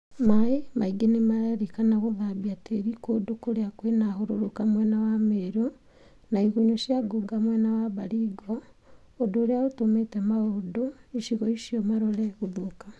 Maĩ maingĩ nimarerĩkana gũthambia tĩri kũndũ kũrĩa kwĩna hũrũrũka mwena wa Meru na igunyũ cia ngũnga mwena wa Baringo , ũndũ ũria ũtũmĩte maũndũ icigo icio marore gũthũka